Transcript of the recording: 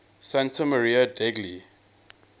santa maria degli